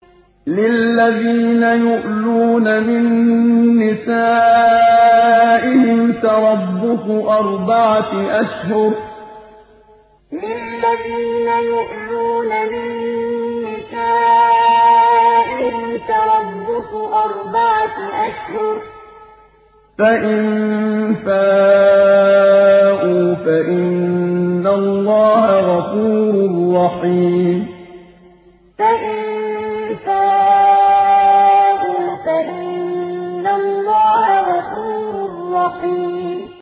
لِّلَّذِينَ يُؤْلُونَ مِن نِّسَائِهِمْ تَرَبُّصُ أَرْبَعَةِ أَشْهُرٍ ۖ فَإِن فَاءُوا فَإِنَّ اللَّهَ غَفُورٌ رَّحِيمٌ لِّلَّذِينَ يُؤْلُونَ مِن نِّسَائِهِمْ تَرَبُّصُ أَرْبَعَةِ أَشْهُرٍ ۖ فَإِن فَاءُوا فَإِنَّ اللَّهَ غَفُورٌ رَّحِيمٌ